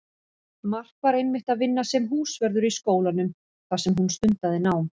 Mark var einmitt að vinna sem húsvörður í skólanum þar sem hún stundaði nám.